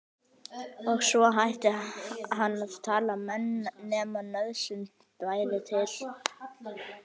Og svo hætti hann að tala nema nauðsyn bæri til.